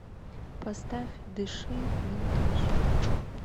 поставь дыши винтаж